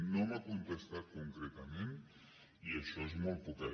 no m’ha contestat concretament i això és molt poquet